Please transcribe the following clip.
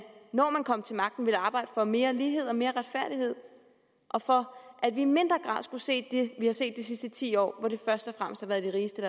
at når man kommer til magten vil man arbejde for mere lighed og mere retfærdighed og for at vi i mindre grad skal se det vi har set de sidste ti år hvor det først og fremmest har været de rigeste